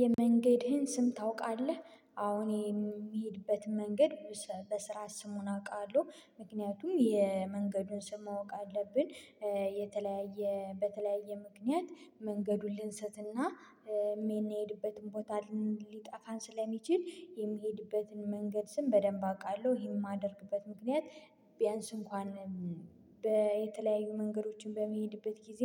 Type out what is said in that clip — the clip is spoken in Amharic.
የመንገድህን ስም ታውቃለህ? አዎን የምሄድበትን መንገድ በስራ ስሙን አውቃለሁ ምክንያቱም የመንገዱን ስም ማወቅ አለብን የተለያየ በተለያየ ምክንያት መንገዱን ልንስትና የምንሄድበትን ቦታ ሊጠፋን ስለሚችል የምሄድበትን መንገድ ስም በደንብ አውቃለሁ ይሄን የማደርግበት ምክንያት ቢያንስ እንኳን በየተለያዩ መንገዶችን በምሄድበት ጊዜ